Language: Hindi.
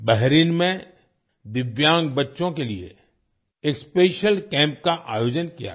बहरीन में दिव्यांग बच्चों के लिए एक स्पेशियल कैम्प का आयोजन किया गया